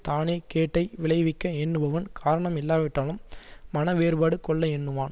தானேகேட்டை விளைவிக்க எண்ணுபவன் காரணம் இல்லாவிட்டாலும் மனவேறுபாடு கொள்ள எண்ணுவான்